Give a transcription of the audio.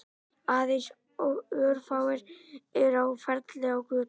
Aðeins örfáir eru á ferli á götunum